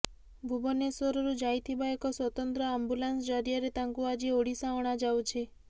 ଭୁବନେଶ୍ବରରୁ ଯାଇଥିବା ଏକ ସ୍ବତନ୍ତ୍ର ଆମ୍ବୁଲାନ୍ସ ଜରିଆରେ ତାଙ୍କୁ ଆଜି ଓଡ଼ିଶା ଅଣାଯାଉଛି